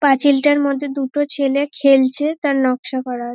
পাঁচিলটার মধ্যে দুটো ছেলে খেলছে তার নকশা করা আ --